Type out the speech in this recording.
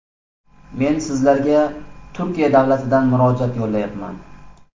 Men sizlarga Turkiya davlatidan murojaat yo‘llayapman.